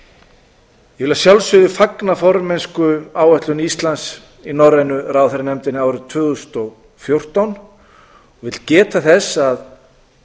ég vil að sjálfsögðu fagna formennskuáætlun íslands í norrænu ráðherranefndinni árið tvö þúsund og fjórtán og vil geta þess að